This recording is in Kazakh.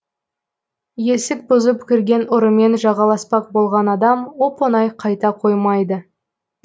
есік бұзып кірген ұрымен жағаласпақ болған адам оп оңай қайта қоймайды